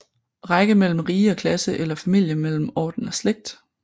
Række mellem rige og klasse eller Familie mellem orden og slægt